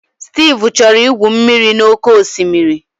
Steve chọrọ igwu mmiri n'oké osimiri.